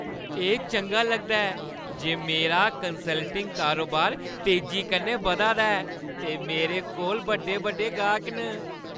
एह् चंगा लगदा ऐ जे मेरा कंसल्टिंग कारोबार तेजी कन्नै बधा दा ऐ, ते मेरे कोल बड्डे-बड्डे गाह्‌क न।